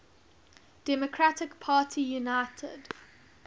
democratic party united